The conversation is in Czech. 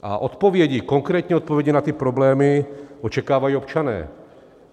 A odpovědi, konkrétní odpovědi na ty problémy očekávají občané.